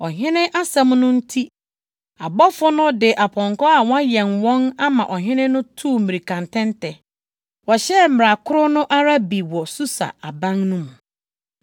Ɔhene asɛm no nti, abɔfo no de apɔnkɔ a wɔayɛn wɔn ama ɔhene no tuu mmirikatɛntɛ. Wɔhyɛɛ mmara koro no ara bi wɔ Susa aban no mu.